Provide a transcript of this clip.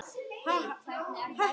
Hvers vegna þetta efni?